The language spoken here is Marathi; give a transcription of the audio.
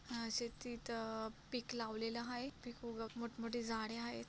अं शेतीत अं पिक लावलेल हाये पिक उग मोठमोठे झाडे हायेत.